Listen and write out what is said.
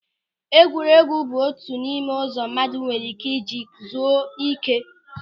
Egwuregwu bụ otu n'ime ụzọ mmadụ nwere ị́ké ịji zuo ị́ké.